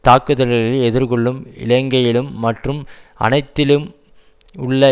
தாக்குதல்களை எதிர்கொள்ளும் இலங்கையிலும் மற்றும் அனைத்திலும் உள்ள